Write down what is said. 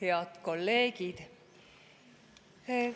Head kolleegid!